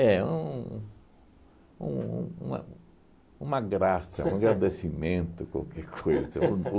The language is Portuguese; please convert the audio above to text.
um um um uma uma graça, um agradecimento, qualquer coisa. O